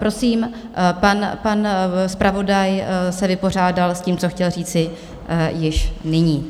Prosím, pan zpravodaj se vypořádal s tím, co chtěl říci již nyní.